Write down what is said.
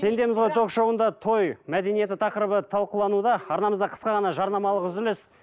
пендеміз ғой ток шоуында той мәдениеті тақырыбы талқылануда арнамызда қысқа ғана жарнамалық үзіліс